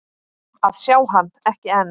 að sjá hann, ekki enn.